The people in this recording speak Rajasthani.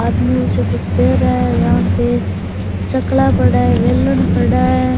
आदमी से कुछ कह रहा है यहाँ पे चकला पड़ा है बेलन पड़ा है।